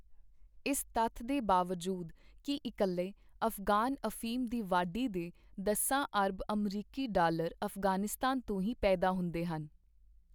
ਇਸ ਤੱਥ ਦੇ ਬਾਵਜੂਦ ਕਿ ਇਕੱਲੇ ਅਫ਼ਗਾਨ ਅਫੀਮ ਦੀ ਵਾਢੀ ਦੇ ਦਸਾਂ ਅਰਬ ਅਮਰੀਕੀ ਡਾਲਰ ਅਫ਼ਗ਼ਾਨਿਸਤਾਨ ਤੋਂ ਹੀ ਪੈਦਾ ਹੁੰਦੇ ਹਨ।